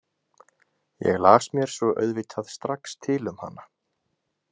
Ég las mér svo auðvitað strax til um hana.